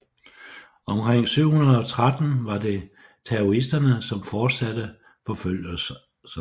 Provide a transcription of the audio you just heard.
Omkring 713 var det taoisterne som fortsatte forfølgelserne